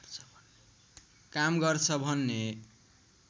काम गर्छ भन्ने